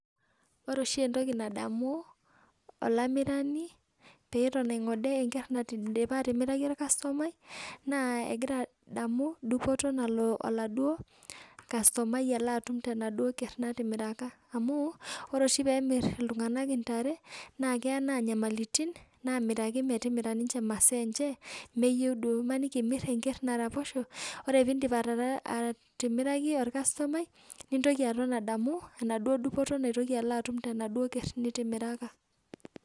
Wore oshi entoki nadamu olamirani peton aingode enkerr naidipa atimiraka orkastomai, naa ekira adamu dupoto nalo oladuo kastomai alo atum tenaduo kerr natimiraka. Amu, wore oshi peemirr iltunganak intare, naa keya naa inyamalitin naamiraki metimira imaasa enche meyieu duo. Imaniki imirr enkerr naraposho, wore pee indip atimiraki orkastomai, nintoki aton adamu enaduo dupoto naitoki alo atum tenaduo kerr nitimiraka.